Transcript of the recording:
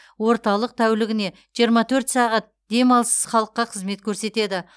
орталық тәулігіне жиырма төрт сағат демалыссыз халыққа қызмет көрсетеді